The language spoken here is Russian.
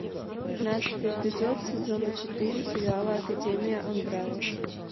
пятнадцатый эпизод сезона четыре сериала академия амбрелла